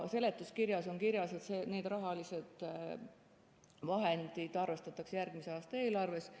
Seletuskirjas on kirjas, et need rahalised vahendid arvestatakse järgmise aasta eelarves.